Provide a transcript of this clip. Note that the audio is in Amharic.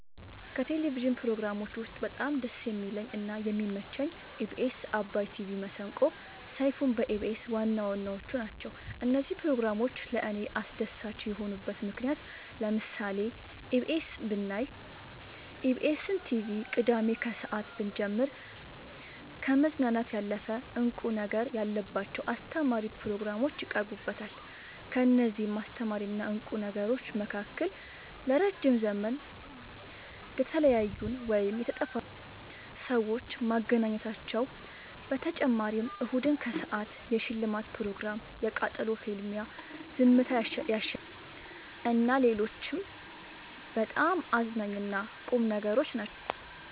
ከቴሌቭዥን ፕሮግራሞች ውስጥ በጣም ደስ የሚለኝ እና የሚመቸኝ ኢቢኤስ አባይ ቲቪ መሰንቆ ሰይፋን በኢቢኤስ ዋናዋናዎቹ ናቸው። እነዚህ ፕሮግራሞች ለእኔ አስደሳች የሆኑበት ምክንያት ለምሳሌ ኢቢኤስ ብናይ ኢቢኤስን ቲቪ ቅዳሜ ከሰአት ብንጀምር ከመዝናናት ያለፈ እንቁ ነገር ያለባቸው አስተማሪ ፕሮግራሞች ይቀርቡበታል ከእነዚህም አስተማሪና ቁም ነገሮች መካከል ለረዥም ዘመን የተለያዩን ወይም የተጠፋፉትን ሰዎች ማገናኘታቸው በተጨማሪም እሁድን ከሰአት የሽልማት ፕሮግራም የቃጠሎ ፍልሚያ ዝምታ ያሸልማል እና ሌሎችም በጣም አዝናኝ እና ቁም ነገሮች ናቸው።